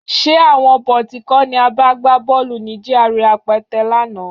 Ṣé àwọn bọ̀tí kọ́ ni a bá gbá bọ́ọ̀lù ní GRA Apẹtẹ lánàá?